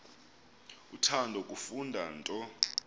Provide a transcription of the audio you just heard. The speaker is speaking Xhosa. uthanda kufunda nto